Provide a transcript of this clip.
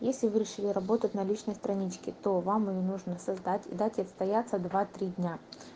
если вы решили работать на личной страничке то вам и её нужно создать и дать отстояться два-три дня